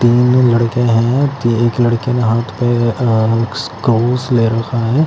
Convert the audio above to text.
तीन लड़के है ते एक लड़के ने हाथ पे ले रखा है --